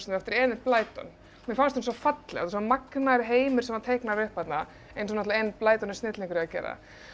eftir Enid Blyton mér fannst hún svo falleg svo magnaður heimur sem var teiknaður upp þarna eins og Enid Blyton er snillingur í að gera